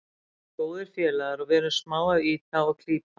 Við erum góðir félagar og við vorum smá að ýta og klípa.